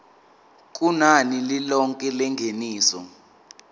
kunani lilonke lengeniso